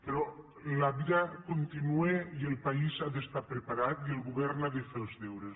però la vida continua i el país ha d’estar preparat i el govern ha de fer els deures